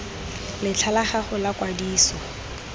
letlha la gago la kwadiso